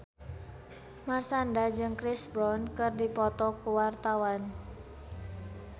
Marshanda jeung Chris Brown keur dipoto ku wartawan